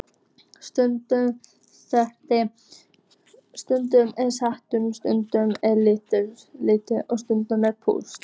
Stundum er salurinn, stundum er lita, stundum er púsla.